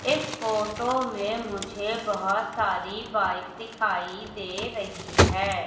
इस फोटो में मुझे बहोत सारी बाइक दिखाई दे रही है।